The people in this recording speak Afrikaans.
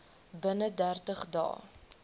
binne dertig dae